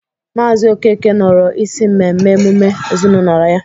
Maazị Okeke nọrọ isi mmemme emume ezinaụlọ ya.